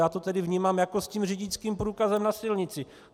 Já to tedy vnímám jako s tím řidičským průkazem na silnici.